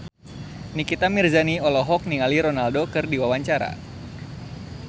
Nikita Mirzani olohok ningali Ronaldo keur diwawancara